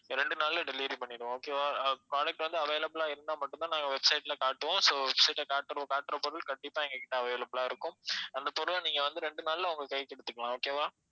ரெண்டு நாள்ல delivery பண்ணிடுவோம் okay வா அஹ் product வந்து available ஆ இருந்தா மட்டும் தான் நாங்க website ல காட்டுவோம் so website ல காட்டுற காட்டுற பொருள் கண்டிப்பா எங்க கிட்ட available ஆ இருக்கும் அந்தப் பொருளை நீங்க வந்து ரெண்டு நாள்ல உங்க கைக்கு எடுத்துக்கலாம் okay வா